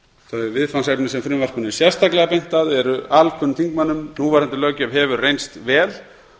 þau viðfangsefni sem frumvarpinu er sérstaklega beint að eru alkunn þingmönnum núverandi löggjöf hefur reynst vel